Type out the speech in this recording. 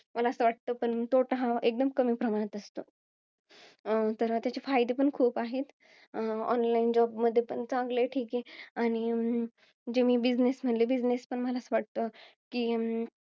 मला वाटतं, तोटा हा एकदम कमी प्रमाणात असतो. तर त्याचे फायदे पण खूप आहेत. online job मध्ये पण चांगलं आहे, ठीके. आणि जे मी business म्हंटले, business पण मला वाटत कि,